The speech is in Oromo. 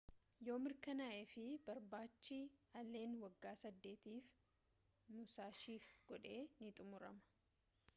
yoo mirkanaa'eef barbaachi allen waggaa saddeetiif musashiif godhe ni xumurama